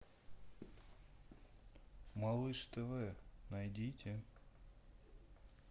малыш тв найдите